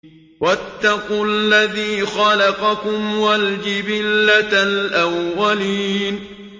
وَاتَّقُوا الَّذِي خَلَقَكُمْ وَالْجِبِلَّةَ الْأَوَّلِينَ